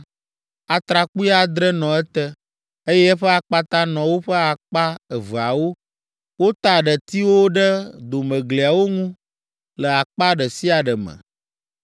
Atrakpui adre nɔ ete, eye eƒe akpata nɔ woƒe akpa eveawo. Wota detiwo ɖe domegliawo ŋu le akpa ɖe sia ɖe me.